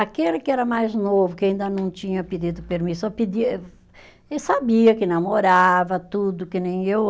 Aquele que era mais novo, que ainda não tinha pedido permissão, pedia, eh, e sabia que namorava, tudo, que nem eu.